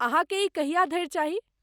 अहाँकेँ ई कहिया धरि चाही?